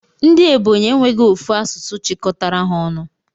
Ndi ebonyi enweghi ofu asụsụ chikọtara ha ọnụ.